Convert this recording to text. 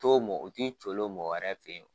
u ti coolo mɔgɔ wɛrɛ fɛ yen.